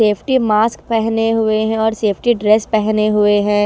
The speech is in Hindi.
सेफ्टी मास्क पहने हुए है और सेफ्टी ड्रेस पहने हुए है।